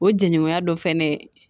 O jɛɲɔgɔnya dɔ fɛnɛ